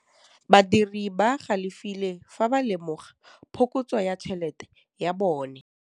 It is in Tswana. Badiri ba galefile fa ba lemoga phokotsô ya tšhelête ya bone.